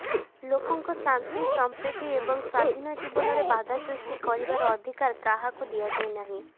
ଲୋକଙ୍କ ଶାନ୍ତି ସଂପ୍ରୀତି ଏବଂ ସ୍ୱାଧୀନ ଜୀବନରେ ବାଧା ସୃଷ୍ଟି କରିବାର ଅଧିକାର କାହାକୁ ଦିଆଯାଇନାହିଁ